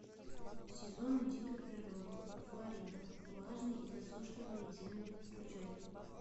сезоны дикой природы флорида влажные и засушливые земли включай